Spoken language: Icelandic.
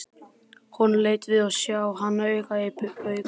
Honum létti við að sjá hana aka í burtu.